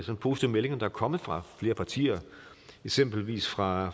positive meldinger der er kommet fra flere partier eksempelvis fra